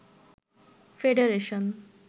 federation